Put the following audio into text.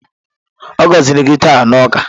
A gọziri gị taa na ụka?